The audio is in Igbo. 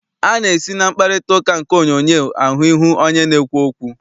A na-esi na mkparịtaụka nke onyoonyoo ahụ ihu onye na-ekwu okwu.